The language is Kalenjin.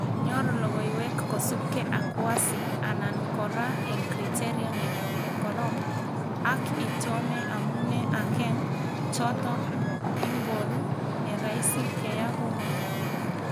Nyor logoiwek kosubke ak wasi anan kora eng kriteria nekorom, ak iton amune akeng choto ingoru neraisi keya kunot